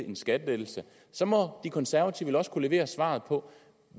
en skattelettelse så må de konservative vel også kunne levere svaret på